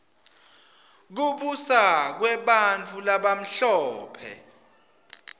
kubusa kwebantfu labamhlope